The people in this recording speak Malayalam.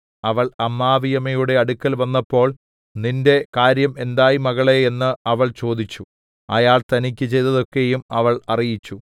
അവൾ അമ്മാവിയമ്മയുടെ അടുക്കൽ വന്നപ്പോൾ നിന്റെ കാര്യം എന്തായി മകളേ എന്നു അവൾ ചോദിച്ചു അയാൾ തനിക്കു ചെയ്തതൊക്കെയും അവൾ അറിയിച്ചു